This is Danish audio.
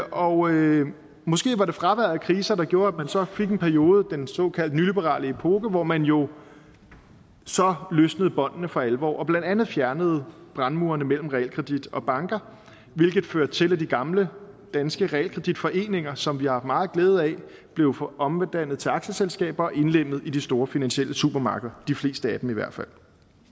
og måske var det fraværet af kriser der gjorde at man så fik en periode den såkaldte nyliberale epoke hvor man jo så løsnede båndene for alvor og blandt andet fjernede brandmurene mellem realkredit og banker hvilket førte til at de gamle danske realkreditforeninger som vi har haft meget glæde af blev omdannet til aktieselskaber og indlemmet i de store finansielle supermarkeder de fleste af dem i hvert fald